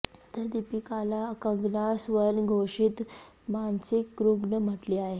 तर दीपिकाला कंगना स्वयंघोषित मानसिक रुग्ण म्हटली आहे